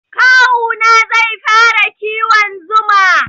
Kawu na zai fara kiwon zuma.